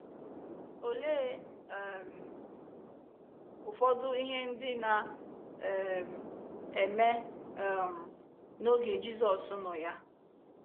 Olee um ụfọdụ ihe ndị na um - eme um n’oge Jizọs nọ ya?